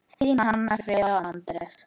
Þín Hanna Fríða og Anders.